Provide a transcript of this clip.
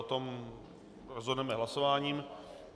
O tom rozhodneme hlasováním.